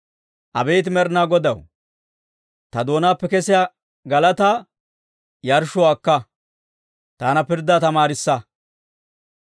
Abeet Med'inaa Godaw, ta doonaappe kesiyaa galataa, yarshshuwaa akka; taana pirddaa tamaarissa.